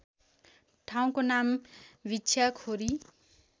ठाउँको नाम भिक्षाखोरी